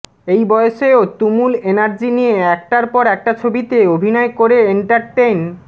এই বয়সেও তুমুল এনার্জি নিয়ে একটার পর একটা ছবিতে অভিনয় করে এন্টারটেন